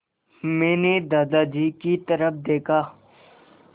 मैंने दादाजी की तरफ़ देखा